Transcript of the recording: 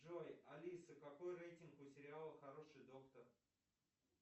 джой алиса какой рейтинг у сериала хороший доктор